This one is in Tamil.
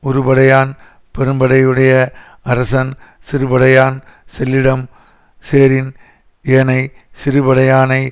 உறுபடையான் பெரும்படையுடைய அரசன் சிறுபடையான் செல் இடம் சேரின் ஏனை சிறுபடையானை